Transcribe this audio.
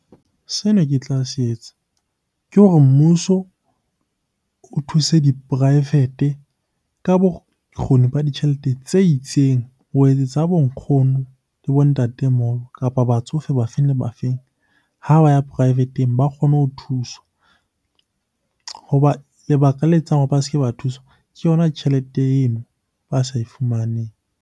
Sene ke tla se etsa ke hore mmuso o thuse diporaefete ka bokgoni ba ditjhelete tse itseng ho etsetsa ha bo nkgono le bo ntatemoholo, kapa batsofe ba feng le ba feng ha ba ya poraefete ba kgone ho thuswa. Hoba lebaka le etsang hore ba se ke ba thuswa ke yona tjhelete eno ba sa e fumaneng.